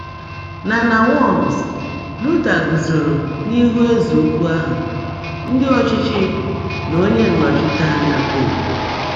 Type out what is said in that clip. Na Na Worms, Luther guzoro n’ihu ezeukwu ahụ, ndị ọchịchị na onye nnọchiteanya Poopu.